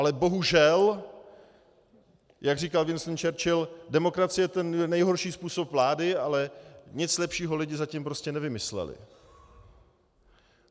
Ale bohužel, jak říkal Winston Churchill, demokracie je ten nejhorší způsob vlády, ale nic lepšího lidi zatím prostě nevymysleli.